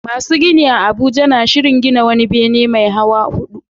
Masu gini a Abuja na shirin gina wani bene mai hawa hudu